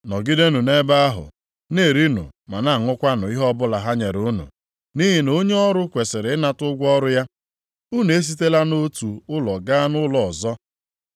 Nọgidenụ nʼebe ahụ, na-erinụ ma na-aṅụkwanụ ihe ọbụla ha nyere unu, nʼihi na onye ọrụ kwesiri ịnata ụgwọ ọrụ ya. Unu esitela nʼotu ụlọ gaa nʼụlọ ọzọ.